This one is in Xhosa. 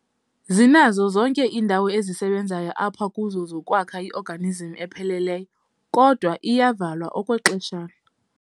Zinazo zonke indawo ezisebenzayo apha kuzo zokwakha i-organism epheleleyo, kodwa iyavalwa okwexeshana.